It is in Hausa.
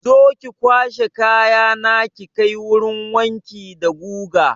Zo ki kwashe kayana ki kai wurin wanki da guga!